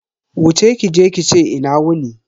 Wuce kije ki ce "Ina wuni".